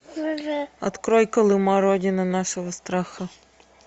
открой колыма родина нашего страха